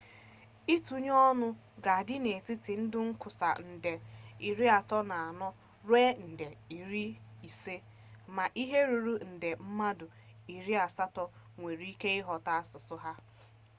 itunye-onu ga adi n'etiti ndi nkwusa nde 340 ruo nde 500 ma ihe ruru nde mmadu 800 nwere ike ighota asusu ahu